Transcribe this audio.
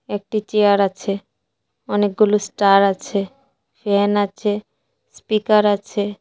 একটি চেয়ার আছে অনেকগুলো স্টার আছে ফ্যান আছে স্পিকার আছে।